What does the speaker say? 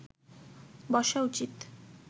বসা উচিৎ